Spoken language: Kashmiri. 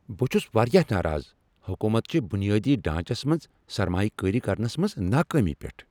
بہٕ چھس واریاہ ناراض حکوٗمت چہ بنیٲدی ڈھانچس منٛز سرمایہ کٲری کرنس منٛز ناکٲمی پیٹھ۔